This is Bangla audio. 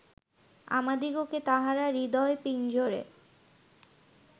আমাদিগকে তাঁহারা হৃদয়-পিঞ্জরে